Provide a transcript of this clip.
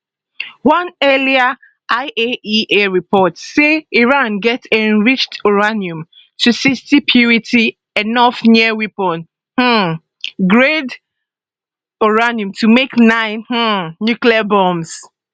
one earlier iaea report say iran get enriched uranium to 60 purity enough near weapons um grade uranium to make nine um nuclear bombs